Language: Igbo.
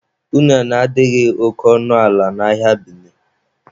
Unene adịghị oke ọnụ ala n'ahịa Bini